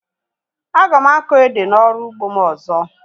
Aga m akọ ede na ọrụ ugbo m ọzọ